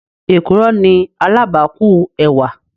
Èkùrọ́ ni alábàákú ẹwà.